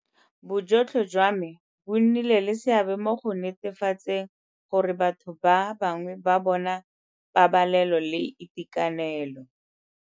Bojotlhe jwa bona bo nnile le seabe mo go netefatseng gore batho ba bangwe ba bona pabalelo le itekanelo.